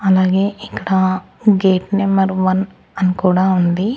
అలాగే ఇక్కడ gate number one అని కూడా ఉంది.